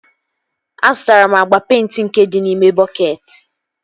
Azụtara m agba peịnti nke dị n'ime bọketị